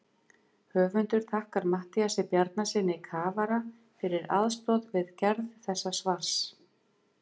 Höfundur þakkar Matthíasi Bjarnasyni kafara fyrir aðstoð við gerð þessa svars.